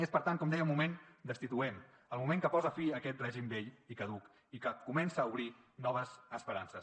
és per tant com deia un moment destituent el moment que posa fi a aquest règim vell i caduc i que comença a obrir noves esperances